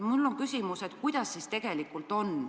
Mul on küsimus, kuidas siis tegelikult on.